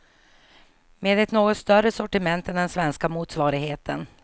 Med ett något större sortiment än den svenska motsvarigheten.